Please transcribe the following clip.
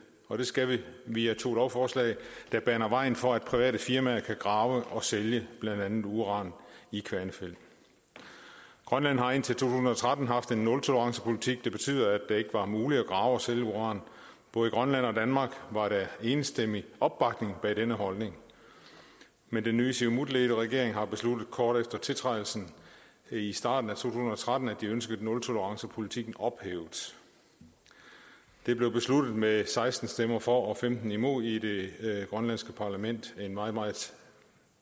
og det skal vi via to lovforslag der baner vejen for at private firmaer kan grave og sælge blandt andet uran i kvanefjeld grønland har indtil to tusind og tretten haft en nultolerancepolitik det betyder at det ikke var muligt at grave efter og sælge uran både i grønland og danmark var der enstemmig opbakning bag denne holdning men den nye siumutledede regering har besluttet kort efter tiltrædelsen i starten af to tusind og tretten at de ønskede nultolerancepolitikken ophævet det blev besluttet med seksten stemmer for og femten imod i det grønlandske parlament en meget meget